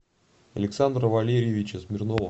александра валерьевича смирнова